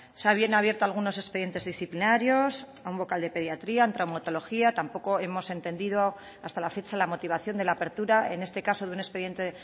se habían abierto algunos expedientes disciplinarios a un vocal de pediatría en traumatología tampoco hemos entendido hasta la fecha la motivación de la apertura en este caso de un expediente